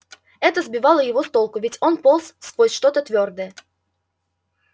это сбивало его с толку ведь он полз сквозь что-то твёрдое